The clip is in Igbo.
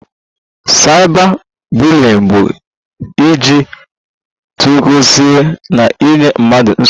Cyber bullying bụ iji teknụzụ na-enye mmadụ nsogbu